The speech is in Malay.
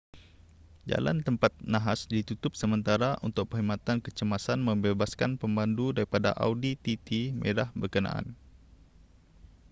jalan tempat nahas ditutup sementara untuk perkhidmatan kecemasan membebaskan pemandu daripada audi tt merah berkenaan